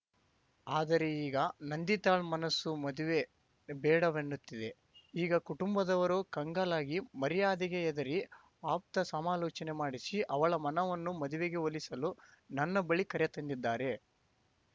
ಆದರೆ ಈಗ ನಂದಿತಾಳ ಮನಸ್ಸು ಮದುವೆ ಬೇಡವೆನ್ನುತ್ತಿದೆ ಈಗ ಕುಟುಂಬದವರು ಕಂಗಾಲಾಗಿ ಮರ್ಯಾದೆಗೆ ಹೆದರಿ ಆಪ್ತ ಸಮಾಲೋಚನೆ ಮಾಡಿಸಿ ಅವಳ ಮನವನ್ನು ಮದುವೆಗೆ ಒಲಿಸಲು ನನ್ನ ಬಳಿ ಕರೆ ತಂದಿದ್ದಾರೆ